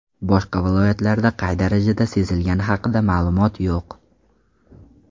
Boshqa viloyatlarda qay darajada sezilgani haqida ma’lumot yo‘q.